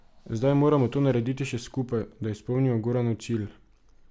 Zdaj moramo to narediti še skupaj, da izpolnimo Goranov cilj.